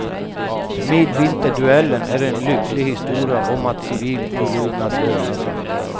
Midvinterduellen är en lycklig historia om att civil olydnad lönar sig.